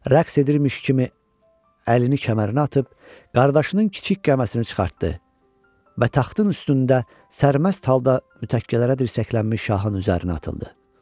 Rəqs edirmiş kimi əlini kəmərinə atıb qardaşının kiçik qəməsini çıxartdı və taxtın üstündə sərməst halda mütəkkələrə dirsəklənmiş şahın üzərinə atıldı.